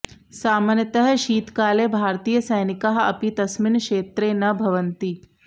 सामान्यतः शीतकाले भारतीयसैनिकाः अपि तस्मिन् क्षेत्रे न भवन्ति